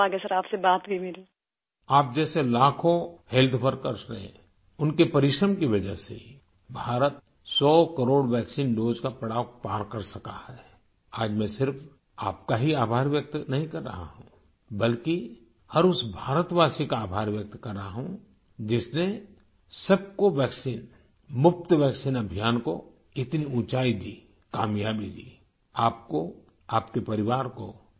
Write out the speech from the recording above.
شکریہ سر، میری خوش قسمتی آپ سے بات ہوئی میری